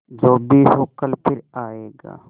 जो भी हो कल फिर आएगा